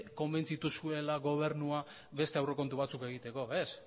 konbentzitu zuela gobernua beste aurrekontu batzuk egiteko ez